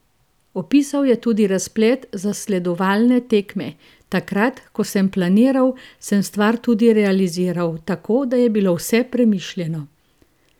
Opisal je tudi razplet zasledovalne tekme: ''Takrat, ko sem planiral, sem stvar tudi realiziral, tako da je bilo vse premišljeno.